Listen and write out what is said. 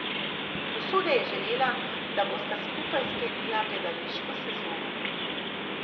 Usoda je želela, da bosta skupaj sklenila gledališko sezono.